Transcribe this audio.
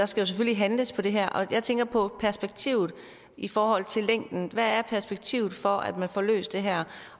skal handles på det her jeg tænker på perspektivet i forhold til længden hvad er perspektivet for at man får løst det her